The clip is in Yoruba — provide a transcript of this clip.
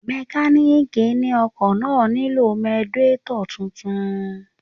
Mọkálíìkì ni ọkọ̀ náà nílò radiétọ̀ tuntun